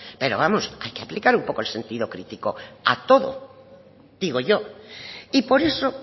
pero vamos que hay que aplicar un poco el sentido crítico a todo digo yo y por eso